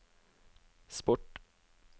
sport